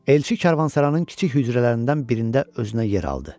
Elçi Kərvansarayın kiçik hücrələrindən birində özünə yer aldı.